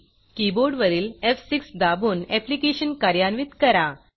कीबोर्डवरील एफ6 दाबून ऍप्लिकेशन कार्यान्वित करा